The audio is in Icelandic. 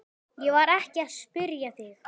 Ég var ekki að spyrja þig.